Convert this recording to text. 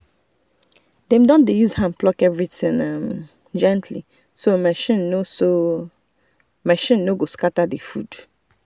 dem dey use hand pluck everything um gently so machine no so machine no go scatter the food.